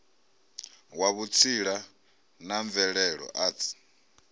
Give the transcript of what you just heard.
wa vhutsila ma mvelelo arts